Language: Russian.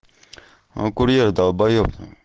а курьер долбаеб